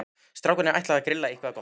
Strákarnir ætla að grilla eitthvað gott.